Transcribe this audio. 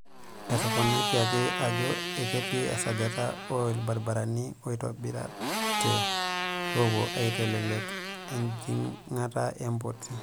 Etoponikiaki ajoo eketii esajata o lbaribarani oitobiritay, loopuo aitelelek ejingata e mpoti.